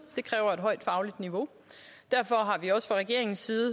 det kræver et højt fagligt niveau og derfor har vi også fra regeringens side